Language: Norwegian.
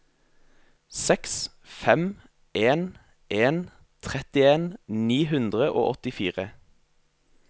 seks fem en en trettien ni hundre og åttifire